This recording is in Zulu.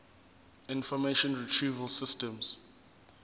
information retrieval system